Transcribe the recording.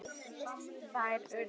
Þær urðu